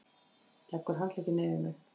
Leggur handlegginn yfir mig.